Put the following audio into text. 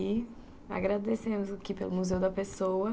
E agradecemos aqui pelo Museu da Pessoa.